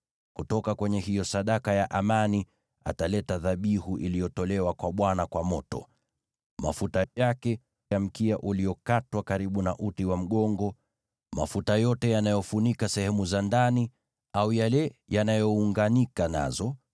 Kutoka kwenye hiyo sadaka ya amani ataleta dhabihu iliyotolewa kwa Bwana kwa moto: mafuta yake, mafuta yote ya mkia uliokatwa karibu na uti wa mgongo, mafuta yote yanayofunika sehemu za ndani au yale yanayounganika nazo,